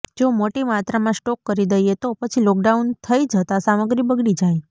જો મોટી માત્રામાં સ્ટોક કરી દઇએ તો પછી લોકડાઉન થઇ જતાં સામગ્રી બગડી જાય